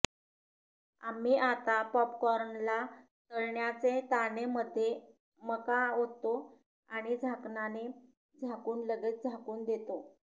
आम्ही आता पॉपकॉर्नला तळण्याचे ताने मध्ये मका ओततो आणि झाकणाने झाकून लगेच झाकून देतो